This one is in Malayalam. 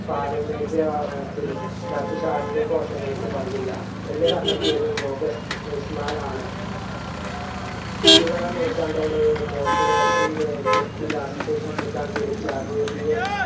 പാരമ്പര്യ വാ ത്തിൽ മറ്റ് ശാരീരിക കോശങ്ങൾക്ക് പങ്കില്ല എന്ന് കണ്ടെത്തിയത് ലോഗസ്റ്റ് ഇസ്‌മാൻ ആണ് ഇരുപതാം നൂറ്റാണ്ടോട് population genetic വികാസത്തെ ചുറ്റിക്കാൻ പിടിച്ച അജൈവിയ